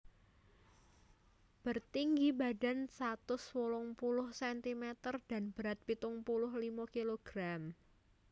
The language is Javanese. Bertinggi badan satus wolung puluh sentimeter dan berat pitung puluh limo kilogram